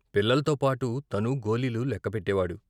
పిల్లల్తోపాటు తనూ గోలీలు లెక్కపెట్టేవాడు.